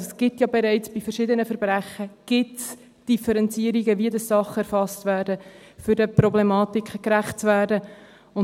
Also: Es gibt ja bereits bei verschiedenen Verbrechen Differenzierungen, wie Sachen erfasst werden, um den Problematiken gerecht zu werden.